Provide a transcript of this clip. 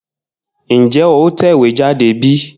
Njé o tẹ̀wéjáde bí?